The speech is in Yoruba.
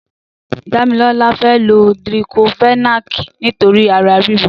Damilola fè ló diklófẹ̀nákí nitóri àrá rìró